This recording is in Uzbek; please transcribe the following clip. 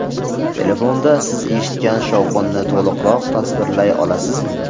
Telefonda siz eshitgan shovqinni to‘liqroq tasvirlay olasizmi?